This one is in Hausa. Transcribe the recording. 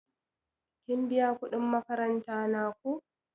Kin biya kuɗin makaranta na ko?